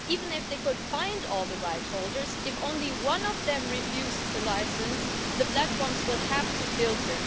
Even if they could find all the rightholders, if just one of them refused a licence, the platforms would have to filter.